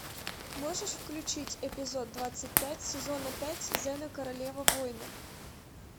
можешь включить эпизод двадцать пять сезона пять зена королева воинов